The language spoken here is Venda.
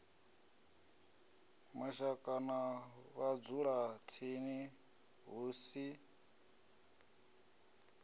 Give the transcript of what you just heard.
mashaka na vhadzulatsini hu si